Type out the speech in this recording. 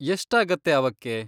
ಎಷ್ಟಾಗತ್ತೆ ಅವಕ್ಕೆ?